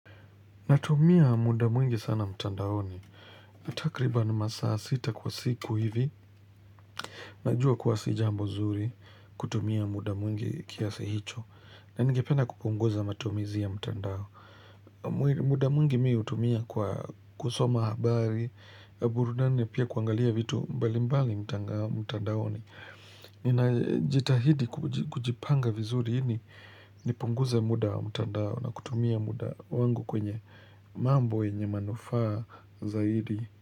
Natumia muda mwingi sana mtandaoni. Ni takriban masaa sita kwa siku hivi. Najuwa kuwa si jambo zuri kutumia muda mwingi kiasa hicho. Na ningependa kupunguza matumizi ya mtandao. Muda mwingi mi hutumia kwa kusoma habari. Kwa burudani pia kuangalia vitu mbali mbali mtandaoni. Jitahidi kujipanga vizuri nipunguze muda mtandao na kutumia muda wangu kwenye. Mambo yenye manufaa zaidi.